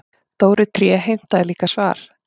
Dóri tré heimtaði líka svar.